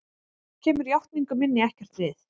Kemur játningu minni ekkert við.